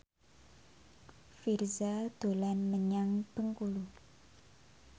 Virzha dolan menyang Bengkulu